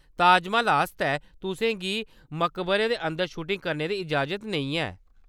ताजमैह्‌‌ल आस्तै, तुसें गी मकबरे दे अंदर शूटिंग करने दी इजाज़त नेईं ऐ।